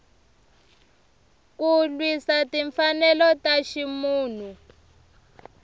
ku lwisa timfanelo ta ximunhu